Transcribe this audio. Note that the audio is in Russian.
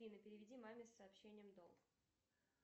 афина переведи маме с сообщением долг